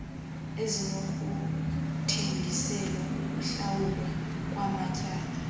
ezinokuthengiselwa ukuhlawulwa kwamatyala